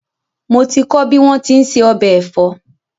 Mo ti kọ́ bí wón ti ń se ọbẹ̀ ẹ̀fọ́